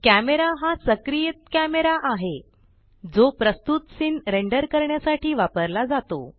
camera हा सक्रियित camera आहे प्रस्तुत जो सीन रेंडर करण्यासाठी वापरला जातो